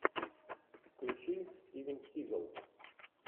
включи стивен сигал